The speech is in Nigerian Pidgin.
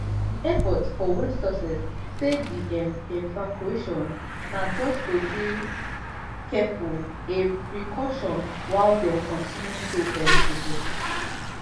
di airport for west sussex say di um evacuation na just to dey careful a precaution while dem continue to um investigate